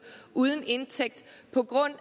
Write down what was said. og uden indtægt på grund